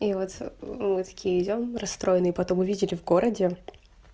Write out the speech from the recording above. и вот мы такие идём расстроенные потом увидели в городе